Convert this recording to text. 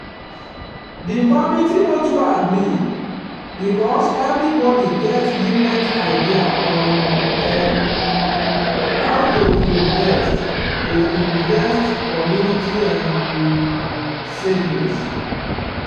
the committee no too agree because everybody get different idea on um how to invest to invest community um savings.